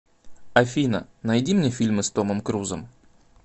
афина найди мне фильмы с томом крузом